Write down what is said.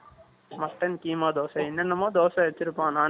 Mutton , keema dosa. என்னென்னமோ, தோசை வச்சிருப்போம். Non veg .